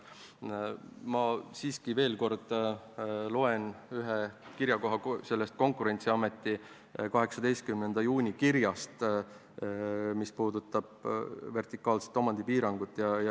Ma siiski loeksin veel kord sellest Konkurentsiameti 18. juuni kirjast ette ühe koha, mis puudutab vertikaalset omandipiirangut.